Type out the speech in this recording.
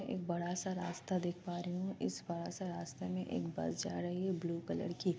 एक बड़ा सा रास्ता देख पा रही हु। इस बड़े से रास्ते मै एक बस जा रही है ब्लू कलर की।